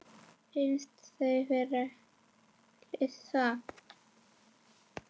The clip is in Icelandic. Finnst þau vera klisja.